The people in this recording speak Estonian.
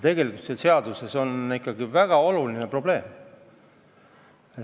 Aga see on ikkagi väga oluline probleem.